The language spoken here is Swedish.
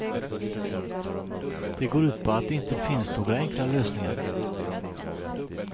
Det går ut på att det inte finns några enkla lösningar.